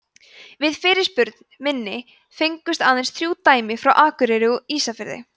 við fyrirspurn minni fengust aðeins þrjú dæmi frá akureyri og ísafirði